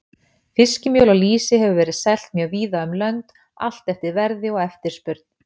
Fiskmjöl og lýsi hefur verið selt mjög víða um lönd, allt eftir verði og eftirspurn.